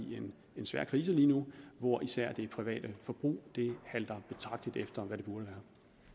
en svær krise lige nu hvor især det private forbrug halter betragteligt efter hvad det burde